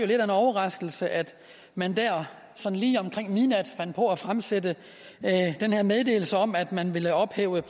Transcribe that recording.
lidt af en overraskelse at man der sådan lige omkring midnat fandt på at fremsende den her meddelelse om at man ville ophæve